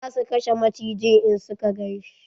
Za su kashe macijin in suka ganshi.